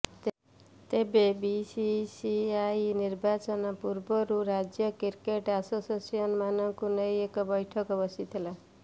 ତେବେ ବିସିସିଆଇ ନିର୍ବାଚନ ପୂର୍ବରୁ ରାଜ୍ୟ କ୍ରିକେଟ ଆସୋସିଏସନ ମାନଙ୍କୁ ନେଇ ଏକ ବୈଠକ ବସିଥିଲା